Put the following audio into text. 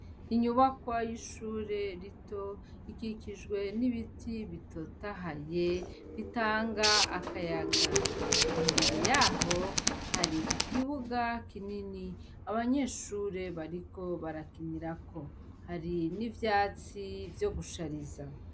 Inyubakwa y'ishure rito ikikijwe n'ibiti bitotahaye bitanga akayaga imbere yaho hari ikibuga kinini abanyeshure bariko barakinirako hari n'ivyatsi vyo gushariza.